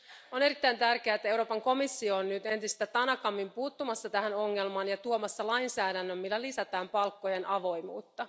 On erittäin tärkeää, että Euroopan komissio on nyt entistä tanakammin puuttumassa tähän ongelmaan ja tuomassa lainsäädännön, millä lisätään palkkojen avoimuutta.